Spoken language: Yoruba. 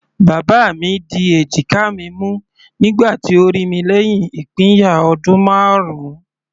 Bàbá mi di èjìká mi mú nígbà tí ó rí mi lẹ́hìn ìpínyà ọdún marun.